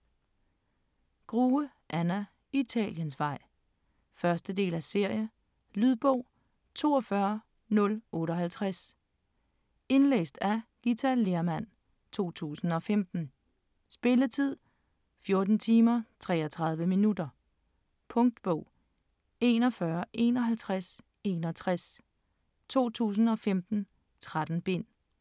Grue, Anna: Italiensvej 1. del af serie. Lydbog 42058 Indlæst af Githa Lehrmann, 2015. Spilletid: 14 timer, 33 minutter. Punktbog 415161 2015. 13 bind.